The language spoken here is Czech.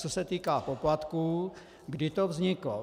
Co se týká poplatků, kdy to vzniklo.